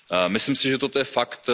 Myslím si, že toto je fakt.